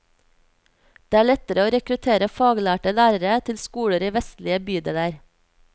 Det er lettere å rekruttere faglærte lærere til skoler i vestlige bydeler.